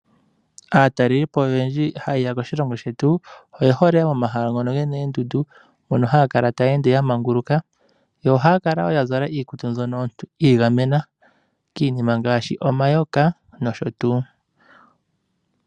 Aatalelipo oyendji ha yeya moshilongo shetu oye hole omahala ngono gena oondundu mpono haya ende yamanguluka. Ohaya kala yazala iikutu mbyono yi igamena kiinima ngaashi omayoka nosho tuu.